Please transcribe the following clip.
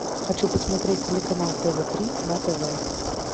хочу посмотреть телеканал тв три на тв